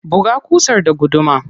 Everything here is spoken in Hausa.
Buga ƙusar da gudumar.